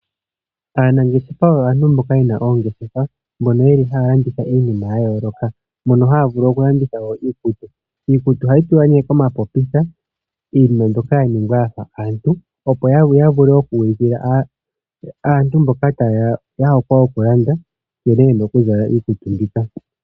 Aanangeshefa oyo aantu mboka yena oongeshefa, mboka haya landitha iinimaya yayooloka, moka haya vulu oku landitha iikutu. Iikutu ohayi tulwa komapopitha, iinima mbyoka ya ningwa yafa aantu, opo ya vule oku ulikila aantu mboka yena ohokwe yoku landa nkene yena oku zala iikutu mbika.